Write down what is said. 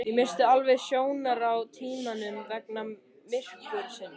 Ég missti alveg sjónar á tímanum vegna myrkursins